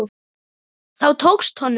Það tókst honum.